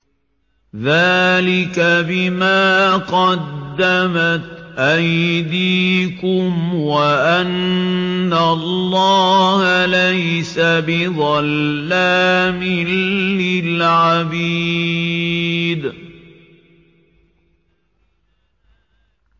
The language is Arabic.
ذَٰلِكَ بِمَا قَدَّمَتْ أَيْدِيكُمْ وَأَنَّ اللَّهَ لَيْسَ بِظَلَّامٍ لِّلْعَبِيدِ